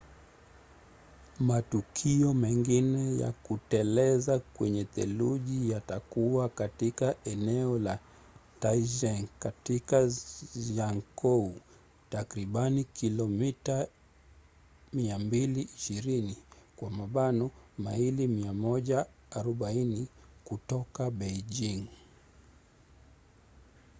matukio mengine ya kuteleza kwenye theluji yatakuwa katika eneo la taizicheng katika zhangjiakou takribani kilomita 220 maili 140 kutoka beijing